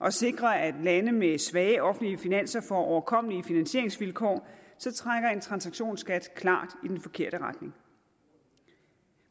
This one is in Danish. at sikre at lande med svage offentlige finanser får overkommelige finansieringsvilkår trækker en transaktionsskat klart i den forkerte retning